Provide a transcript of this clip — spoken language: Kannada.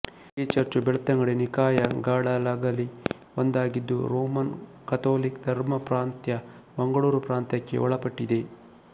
ಈ ಚರ್ಚು ಬೆಳ್ತಂಗಡಿ ನಿಕಾಯ ಗಳಲಗಲಿ ಒಂದಾಗಿದ್ದು ರೋಮನ್ ಕಥೋಲಿಕ ಧರ್ಮಪ್ರಾಂತ್ಯ ಮಂಗಳೂರುಪ್ರಾಂತ್ಯಕ್ಕೆ ಒಳಪಟ್ಟಿದೆ